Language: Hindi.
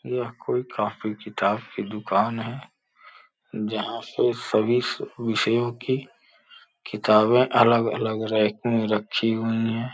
यह कोई कॉपी किताब की दुकान है जहां पे सभी विषयों की किताबें अलग-अलग रैक में रखी हुई हैं।